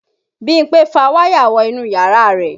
Bímpé fa wáyà wọ inú yàrá rẹ̀